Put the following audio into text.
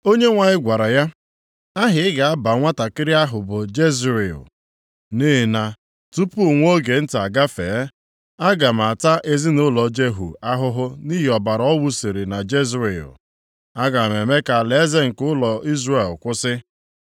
Onyenwe anyị gwara ya, “Aha ị ga-agụ nwantakịrị ahụ bụ Jezril. Nʼihi na tupu nwa oge nta agafee, aga m ata ezinaụlọ Jehu ahụhụ nʼihi ọbara ọ wụsiri na Jezril. Aga m eme ka alaeze nke ụlọ Izrel kwụsị.